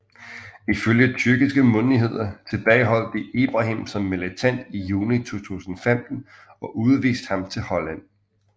Ifølge tyrkiske myndigheder tilbageholdt de Ibrahim som en militant i juni 2015 og udviste ham til Holland